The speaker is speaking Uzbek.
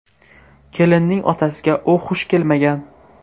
Kelinning otasiga u xush kelmagan.